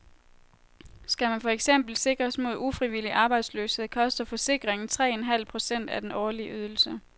Skal man for eksempel sikres mod ufrivillig arbejdsløshed, koster forsikringen tre en halv procent af den årlige ydelse.